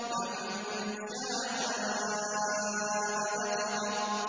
فَمَن شَاءَ ذَكَرَهُ